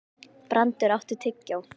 Brandr, áttu tyggjó?